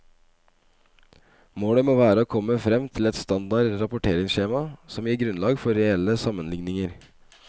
Målet må være å komme frem til et standard rapporteringsskjema som gir grunnlag for reelle sammenligninger.